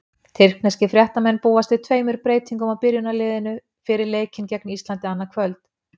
Tyrkneskir fréttamenn búast við tveimur breytingum á byrjunarliðinu fyrir leikinn gegn Íslandi, annað kvöld.